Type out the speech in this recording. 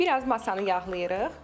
Biraz masanı yağlayırıq.